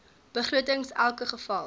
begrotings elke geval